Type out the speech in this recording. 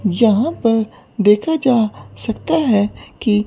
जहां पर देखा जा सकता है कि--